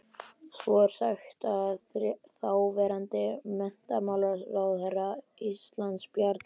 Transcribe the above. Svo er sagt að þáverandi menntamálaráðherra Íslands, Bjarni